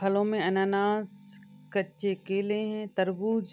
फलो में अनानास कच्चे केले हैं तरबूज --